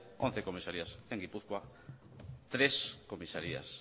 once comisarías en gipuzkoa tres comisarías